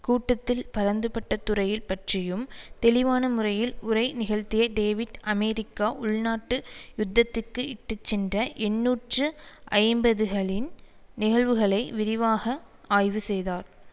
கூட்டத்தில் பரந்துபட்ட துறைய பற்றியும் தெளிவான முறையில் உரை நிகழ்த்திய டேவிட் அமெரிக்கா உள்நாட்டு யுத்தத்துக்கு இட்டு சென்ற எண்ணூற்று ஐம்பதுபதுகளின் நிகழ்வுகளை விரிவாக ஆய்வு செய்தார்